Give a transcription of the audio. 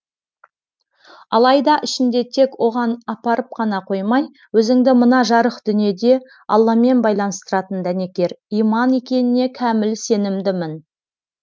алайда ішінде тек оған апарып қана қоймай өзіңді мына жарық дүниеде алламен байланыстыратын дәнекер иман екенініне кәміл сенімдімін